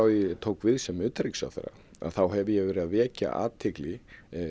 ég tók við sem utanríkisráðherra hef ég verið að vekja athygli